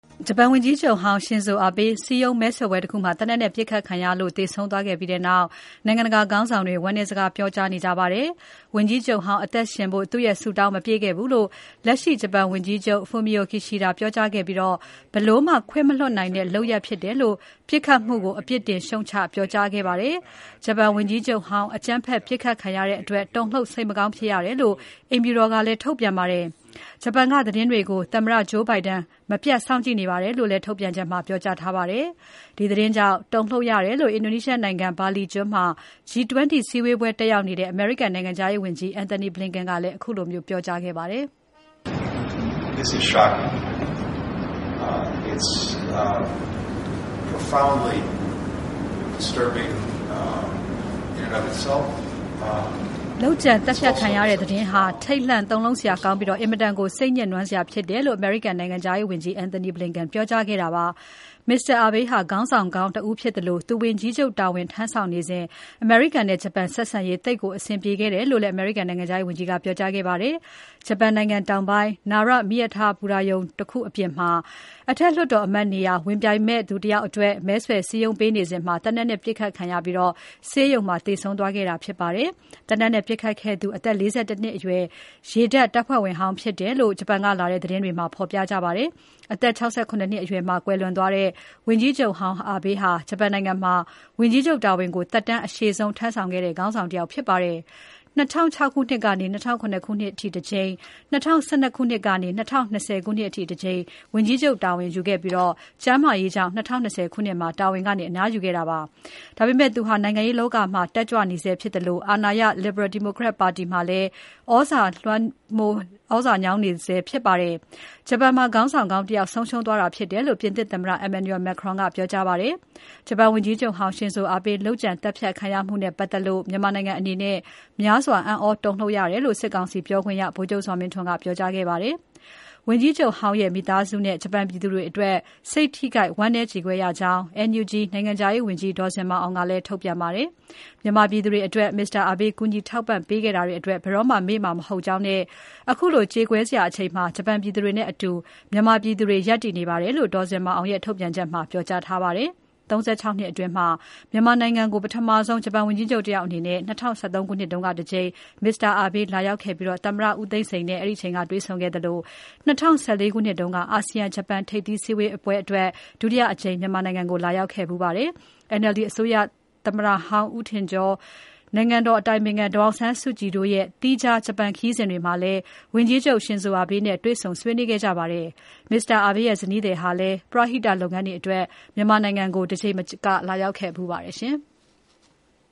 ဂျပန်ဝန်ကြီးချုပ်ဟောင်း Shinzo Abe စည်းရုံးမဲဆွယ်ပွဲတခုမှာ သေနတ်နဲ့ပစ်ခတ်ခံရပြီး သေဆုံးသွားခဲ့ပြီးနောက် နိုင်ငံတကာခေါင်းဆောင်တွေ ဝမ်းနည်းစကား ပြောကြားနေကြပါတယ်။ ဝန်ကြီးချုပ်ဟောင်းအသက်ရှင်ဖို့ သူ့ဆုတောင်း မပြည့်ခဲ့ဘူးလို့ လက်ရှိဂျပန်ဝန်ကြီးချုပ် Fumio Kishida ကပြောကြားခဲ့ပြီး ဘယ်လိုမှ ခွင့်မလွှတ်နိုင်တဲ့လုပ်ရပ်ဖြစ်တယ်လို့ ပစ်ခတ်မှုကို အပြစ်တင်ရှုတ်ချပြောခဲ့ပါတယ်။ ဂျပန်ဝန်ကြီးချုပ်ဟောင်း အကြမ်းဖက်ပစ်ခတ်ခံရတဲ့အတွက် တုန်လှုပ် စိတ်မကောင်းဖြစ်ရတယ်လို့ အိမ်ဖြူတော်ကလည်း ထုတ်ပြန်ပါတယ်။ ဂျပန်ကသတင်းတွေကို သမတ္တ Joe Biden ကမပြတ်စောင့်ကြည့်နေပါတယ်လို့ ထုတ်ပြန်ချက်မှာ ပြောထားပါတယ်။ ဒီသတင်းကြောင့် တုန်လှုပ်ရတယ်လို့ အင်ဒိုနီးရှားနိုင်ငံ ဘာလီကျွန်းမှာ G-20 စည်းဝေးပွဲတက်ရောက်နေတဲ့ အမေရိကန်နိုင်ငံခြားရေးဝန်ကြီး Anthony Blinken ကလည်း ပြောကြားခဲ့ပါတယ်။ လုပ်ကြံသတ်ဖြတ်ခံရတဲ့သတင်းဟာ ထိတ်လန့်တုန်လှုပ်စရာကောင်းပြီး အင်မတန်ကို စိတ် ညစ်နွမ်းစရာဖြစ်တယ်လို့ အမေရိကန်နိုင်ငံခြားရေးဝန်ကြီး Anthony Blinken က ပြောကြားခဲ့တာပါ။ ဂျပန်နိုင်ငံခြားရေးဝန်ကြီး Yoshimasa Hayashi၊ တောင်ကိုရီးယားနိုင်ငံခြားရေးဝန်ကြီး Park Jin တို့နဲ့ ၃ ပွင့်ဆိုင် အစည်းအဝေးမှာ ဝန်ကြီး Blinken ကပြောကြားခဲ့တာဖြစ်ပါတယ်။ Mr. Abe ဟာ ခေါင်းဆောင်ကောင်းတဦးဖြစ်သလို သူဝန်ကြီးချုပ်တာဝန် ထမ်းဆောင်နေစဉ် အမေရိကန်နဲ့ ဂျပန်ဆက်ဆံရေး သိပ်ကိုအဆင်ပြေခဲ့တယ်လို့လည်း အမေရိကန်နိုင်ငံခြားရေးဝန်ကြီးက ပြောကြားခဲ့ပါတယ်။ ဂျပန်နိုင်ငံတောင်ပိုင်း Nara မြို့က မီးရထားဘူတာရုံတခုအပြင်မှာ အထက်လွှတ်တော်အမတ်နေရာ ဝင်ပြိုင်မယ့်သူတယောက်အတွက် မဲဆွယ်စည်းရုံးနေစဉ် သေနတ်နဲ့ပစ်ခတ်ခံရပြီး ဆေးရုံမှာ သေဆုံးသွားခဲ့တာဖြစ်ပါတယ်။ သေနတ်နဲ့ပစ်ခတ်ခဲ့သူဟာ အသက် ၄၁ နှစ်အရွယ် ရေတပ်တပ်ဖွဲ့ဝင်ဟောင်းဖြစ်တယ်လို့ ဂျပန်ကလာတဲ့သတင်းတွေမှာ ဖော်ပြကြပါတယ်။ အသက် ၆၇ နှစ်အရွယ်မှာ ကွယ်လွန်သွားတဲ့ ဝန်ကြီးချုပ် Abe ဟာ ဂျပန်နိုင်ငံမှာ ဝန်ကြီးချုပ် တာဝန်ကို သက်တမ်းအရှည်ဆုံး ထမ်းဆောင်ခဲ့တဲ့ ခေါင်းဆောင်တယောက်ဖြစ်ပါတယ်။ ၂၀၀၆ ခုနှစ်ကနေ ၂၀၀၇ ခုနှစ်အထိ တကြိမ်၊ ၂၀၁၂ ခုနှစ်ကနေ ၂၀၂၀ ခုနှစ်အထိတကြိမ် ဝန်ကြီးချုပ်တာဝန်ယူခဲ့ပြီး ကျန်းမာရေးကြောင့် ၂၀၂၀ ခုနှစ်မှာ တာဝန်ကနေ အနားယူခဲ့တာဖြစ်ပါတယ်။ ဒါပေမဲ့ သူဟာ နိုင်ငံရေးလောကမှာ တက်ကြွနေဆဲဖြစ်သလို အာဏာရ Liberal Democratic Party ပါတီမှာလည်း သြဇာလွှမ်းညောင်းနေဆဲဖြစ်ပါတယ်။ ဂျပန်မှာ ခေါင်းဆောင်ကောင်းတယောက် ဆုံးရှုံးသွားခဲ့တယ်လို့ ပြင်သစ်သမ္မတ Emmanuel Macron ကပြောကြားခဲ့ပါတယ်။ ဂျပန်ဝန်ကြီးချုပ်ဟောင်း Shinzo Abe လုပ်ကြံသတ်ဖြတ်ခံရမှုနဲ့ပတ်သက်လို့ မြန်မာနိုင်ငံအနေနဲ့ များစွာအံ့သြတုန်လှုပ်ရတယ်လို့ စစ်ကောင်စီပြောခွင့်ရ ဗိုလ်ချုပ်ဇော်မင်းထွန်းက ပြောကြားခဲ့ပါတယ်။ ဝန်ကြီးချုပ်ဟောင်းရဲ့ မိသားစုနဲ့ ဂျပန်ပြည်သူ တွေအတွက် စိတ်ထိခိုက် ဝမ်းနည်းကြေကွဲရကြောင်း NUG နိုင်ငံခြားရေးဝန်ကြီး ဒေါ်ဇင်မာအောင်ကလည်း ထုတ်ပြန်ခဲ့ပါတယ်။ မြန်မာပြည်သူတွေအတွက် Mr. Abe ကူညီထောက်ပံ့ပေးခဲ့တာတွေအတွက် ဘယ်တော့မှာ မေ့မှာ မဟုတ်ကြောင်းနဲ့ ခုလိုကြေကွဲစရာအချိန်မှာ ဂျပန်ပြည်သူတွေနဲ့အတူ မြန်မာပြည်သူတွေ ရပ်တည်နေပါတယ်လို့ ဒေါ်ဇင်မာအောင်ရဲ့ ထုတ်ပြန်ချက်မှာ ပြောကြားထားပါတယ်။ Mr. Abe ဟာ ၃၆ နှစ်အတွင်း မြန်မာနိုင်ငံကို ပထမဆုံး ဂျပန်ဝန်ကြီးချုပ်တယောက်အနေနဲ့ ၂၀၁၃ ခုနှစ်က တကြိမ်လာရောက်ပြီး သမ္မတဦးသိန်းစိန်နဲ့ တွေ့ဆုံခဲ့သလို ၂၀၁၄ ခုနှစ်က အာဆီယံ ဂျပန်ထိပ်သီးအစည်းအဝေးအတွက် ဒုတိယအကြိမ်လာရောက်ခဲ့ဖူးပါတယ်။ NLD အစိုးရသမ္မတဟောင်း ဦးထင်ကျော်၊ နိုင်ငံတော်အတိုင်ပင်ခံ ဒေါ်အောင်ဆန်းစုကြည်တို့ရဲ့ သီးခြားဂျပန်ခရီးစဉ်တွေမှာလည်း ဝန်ကြီးချုပ်ဟောင်း Shinzo Abe နဲ့တွေ့ဆုံဆွေးနွေးခဲ့ကြပါတယ်။ Mr. Abe ရဲ့ ဇနီးဟာလည်း ပရဟိတလုပ်ငန်းတွေအတွက် မြန်မာနိုင်ငံကို တကြိမ်မက လာရောက်ခဲ့ဖူးပါတယ်။